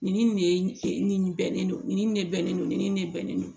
Nin ni nin de ye nin bɛnnen don nin de bɛ ne ni nin de bɛnnen don